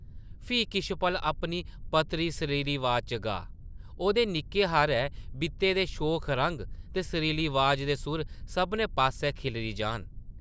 फ्ही किश पल अपनी पतली सरीली अवाज़ा च गाऽ; ओह्दे निक्के हारे बितै दे शोख रंग ते सरीली अवाज़ दे सुर सभनें पास्सै खिल्लरी जाह्न ।